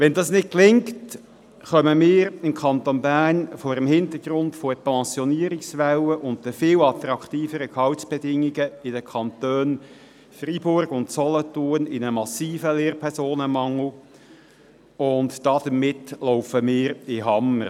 Wenn dies nicht gelingt, werden wir im Kanton Bern vor dem Hintergrund der Pensionierungswelle und der viel attraktiveren Gehaltsbedingungen in den Kantonen Freiburg und Solothurn in einen massiven Lehrpersonenmangel geraten, und damit werden wir in den Hammer laufen.